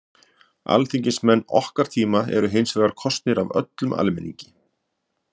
Alþingismenn okkar tíma eru hins vegar kosnir af öllum almenningi.